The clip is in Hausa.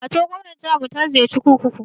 Matar gwamnar jiharmu ta ziyarci kurkuku.